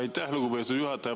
Aitäh, lugupeetud juhataja!